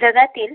जगातील